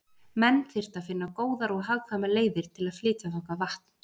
Menn þyrftu að finna góðar og hagkvæmar leiðir til að flytja þangað vatn.